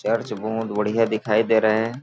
Church बढ़िया दिखाई दे रहे हैं।